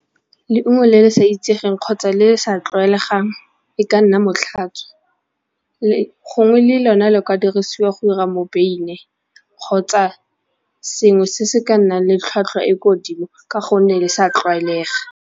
Leungo le le sa itsegeng kgotsa le sa tlwaelegang e ka nna motlhatswa le gongwe le lone a le kwa dirisiwa go 'ira mobeine kgotsa sengwe se se ka nnang le tlhwatlhwa e ko godimo ka gonne le sa tlwaelega.